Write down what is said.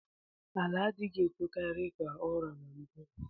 Ala adighi etokari ka ọra na mbu